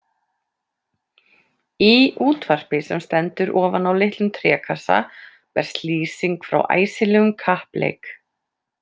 Í útvarpi sem stendur ofan á litlum trékassa berst lýsing frá æsilegum kappleik.